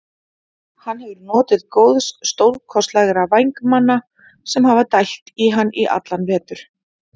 Hann hefur notið góðs stórkostlegra vængmanna sem hafa dælt á hann í allan vetur.